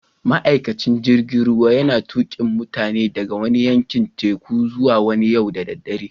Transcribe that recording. Ma'aikacin jirigin ruwan yana tukin mutanin daga wani yankin tekun zuwa wani yau da dare.